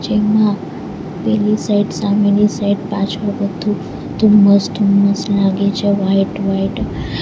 એમાં પેલી સાઈડ સામેની સાઈડ પાછળ બધું ધુમ્મસ ધુમ્મસ લાગે છે વાઈટ વાઈટ .